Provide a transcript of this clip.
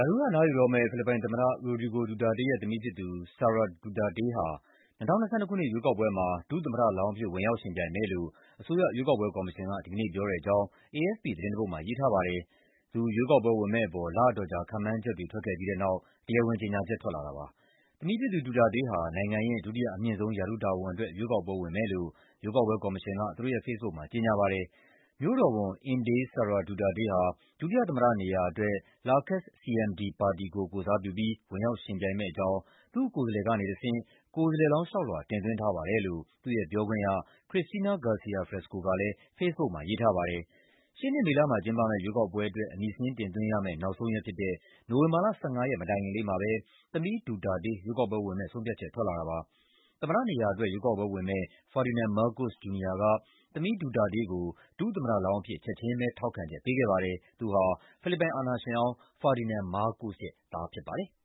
ာထူးက အနားယူတော့မယ့် ဖိလစ်ပိုင်သမ္မတ Rodrigo Duterte ရဲ့သမီးဖြစ်သူ Sara Duterte ဟာ ၂၀၂၂ ခုနှစ် ရွေးကောက်ပွဲမှာ ဒုသမ္မတလောင်းအဖြစ် ဝင်ရောက်ယှဉ်ပြိုင်မယ်လို့ အစိုးရရဲ့ ရွေးကောက်ပွဲကော်မရှင်က ဒီကနေ့ပြောတဲ့အကြောင်း AFP သတင်းတပုဒ်မှာ ရေးထားပါတယ်။ သူ ရွေးကောက်ပွဲဝင်မယ့်အပေါ် လအတော်ကြာ ခန့်မှန်းချက်တွေ ထွက်ခဲ့ပြီးတဲ့နောက် တရားဝင်ကြေညာချက် ထွက်လာတာပါ။ သမီးဖြစ်သူ Duterte ဟာ နိုင်ငံရဲ့ ဒုတိယအမြင့်ဆုံး ရာထူးတာဝန်အတွက် ရွေးကောက်ပွဲဝင်မယ်လို့ ရွေးကောက်ပွဲကော်မရှင်က သူတို့ရဲ့ ဖေ့စ်ဘုတ်မှာ ကြေညာခဲ့တာပါ။ "မြို့တော်ဝန် Inday Sara Duterte ဟာ ဒုတိယသမ္မတနေရာအတွက် Lakas-CMD ပါတီကို ကိုယ်စားပြုပြီး ဝင်ရောက်ယှဉ်ပြိုင်မယ့်အကြောင်း သူ့ကိုယ်စားလှယ်ကနေတဆင့် ကိုယ်စားလှယ်လောင်ငး လျှောက်လွှာ တင်သွင်းထားပါတယ်" လို့ သူ့ရဲ့ပြောခွင့်ရ Christina Garcia Frasco ကလည်း ဖေ့စ်ဘုတ်မှာ ရေးထားပါတယ်။ ရှေ့နှစ် မေလမှာ ကျင်းပမယ့် ရွေးကောက်ပွဲအတွက် အမည်စာရင်း တင်သွင်းရမယ့် နောက်ဆုံးရက်ဖြစ်တဲ့ နိုဝင်ဘာလ ၁၅ ရက် မတိုင်ခင်လေးမှာပဲ သမီး Duterte ရွေးကောက်ပွဲဝင်မယ့် ဆုံးဖြတ်ချက် ထွက်လာတာပါ။ သမ္မတနေရာအတွက် ရွေးကောက်ပွဲဝင်မယ့် Ferdinand Marcos Jr. က သမီး Duterte ကို ဒုသမ္မတလောင်းအဖြစ် ချက်ချင်းပဲ ထောက်ခံချက် ပေးခဲ့ပါတယ်။ သူဟာ ဖိလစ်ပိုင် အာဏာရှင်ဟောင်း Ferdinand Marcos ရဲ့သား ဖြစ်ပါတယ်။